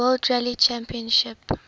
world rally championship